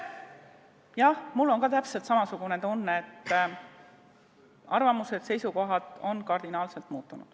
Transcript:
Jah, mul on täpselt samasugune tunne, et arvamused-seisukohad on kardinaalselt muutunud.